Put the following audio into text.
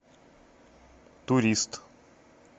турист